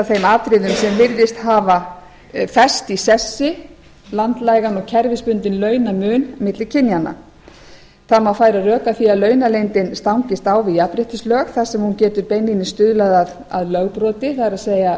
þeim atriðum sem virðist hafa fest í sessi landlægan og kerfisbundinn launamun milli kynjanna það má færa rök að því að launaleyndin stangist á við jafnréttislög þar sem hún getur beinlínis stuðlað að lögbroti það er